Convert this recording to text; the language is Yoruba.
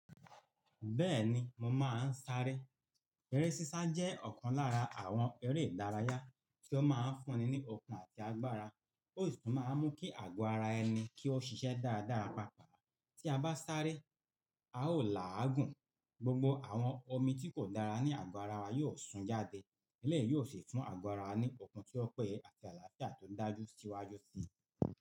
Bẹ́ẹ̀ni, mo máa ń sáré. Eré sísá jẹ́ ọ̀kan lára àwọn eré ìdárayá tí ó máa ń fúnni ní okun àti agbára. Ó sì máa ń mú kí àgọ́ ara ẹni kí ó ṣiṣẹ́ dáradára papọ̀. Tí a bá sáré, a ó là á gùn, gbogbo àwọn omi tí kò dára ní àgọ́ ara wa yóò sun jáde. Elẹ́yìí yóò sì tún àgọ́ ara wa ní okun tí ó pẹ́ye àti àlàáfíà tó dájú síwájú sí i.